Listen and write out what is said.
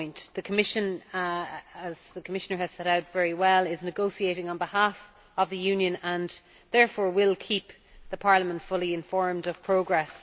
The Commission, as the Commissioner has set out very well, is negotiating on behalf of the Union and, therefore, will keep Parliament fully informed of progress.